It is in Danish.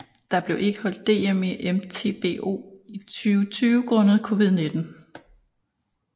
Der blev ikke afholdt DM i MTBO i 2020 grundet COVID19